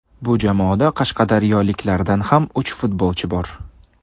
Bu jamoada qashqadaryoliklardan ham uch futbolchi bor.